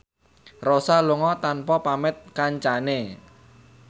Rossa lunga tanpa pamit kancane